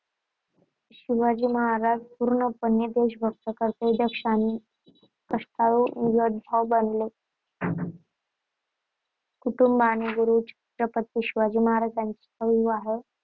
शिवाजी महाराज पूर्णपणे देशभक्त, कर्तव्यदक्ष आणि कष्टाळू योद्धा बनले कुटुंब आणि गुरु छत्रपती शिवाजी महाराजांचा विवाह